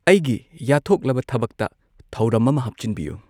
ꯑꯩꯒꯤ ꯌꯥꯠꯊꯣꯛꯂꯕ ꯊꯕꯛꯇ ꯊꯧꯔꯝ ꯑꯃ ꯍꯥꯞꯆꯤꯟꯕꯤꯌꯨ